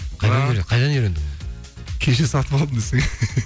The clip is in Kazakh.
қайдан үйрендің кеше сатып алдым десең